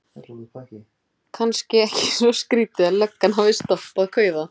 Kannski ekki svo skrýtið að löggan hafi stoppað kauða.